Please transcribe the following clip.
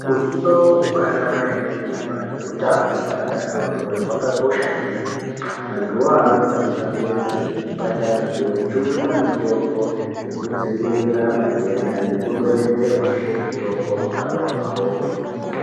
Utano hwaanamai anemimba neutano hweana adodori, hwakakosha kwemene. Antuwo awo anofane kuenda kuchibhedhlera kojungwa mitombo yekudziirira matenda nekudonhedzerwazve mitombo mukanwa mwavomwo.